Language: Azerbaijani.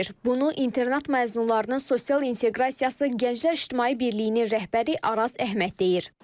Bunu internat məzunlarının sosial inteqrasiyası Gənclər İctimai Birliyinin rəhbəri Araz Əhməd deyir.